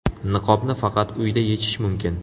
Niqobni faqat uyda yechish mumkin.